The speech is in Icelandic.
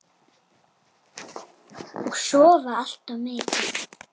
Og sofa allt of mikið.